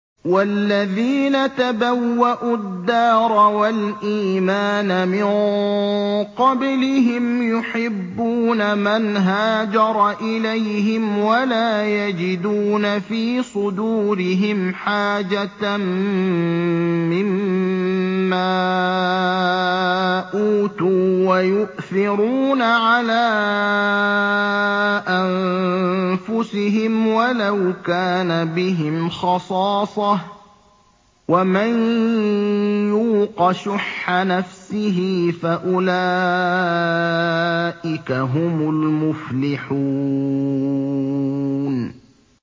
وَالَّذِينَ تَبَوَّءُوا الدَّارَ وَالْإِيمَانَ مِن قَبْلِهِمْ يُحِبُّونَ مَنْ هَاجَرَ إِلَيْهِمْ وَلَا يَجِدُونَ فِي صُدُورِهِمْ حَاجَةً مِّمَّا أُوتُوا وَيُؤْثِرُونَ عَلَىٰ أَنفُسِهِمْ وَلَوْ كَانَ بِهِمْ خَصَاصَةٌ ۚ وَمَن يُوقَ شُحَّ نَفْسِهِ فَأُولَٰئِكَ هُمُ الْمُفْلِحُونَ